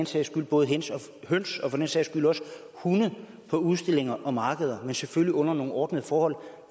sælge både høns og for den sags skyld også hunde på udstillinger og markeder men selvfølgelig under nogle ordnede forhold